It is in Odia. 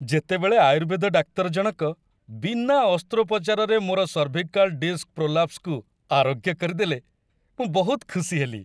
ଯେତେବେଳେ ଆୟୁର୍ବେଦ ଡାକ୍ତର ଜଣକ ବିନା ଅସ୍ତ୍ରୋପଚାରରେ ମୋର ସର୍ଭିକାଲ ଡିସ୍କ ପ୍ରୋଲାପ୍ସକୁ ଆରୋଗ୍ୟ କରିଦେଲେ, ମୁଁ ବହୁତ ଖୁସି ହେଲି।